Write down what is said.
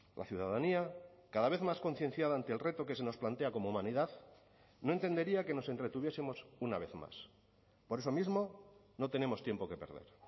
la ciudadanía cada vez más concienciada ante el reto que se nos plantea como humanidad no entendería que nos entretuviesemos una vez más por eso mismo no tenemos tiempo que perder